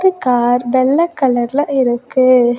Car வெள்ள கலர்ல இருக்கு.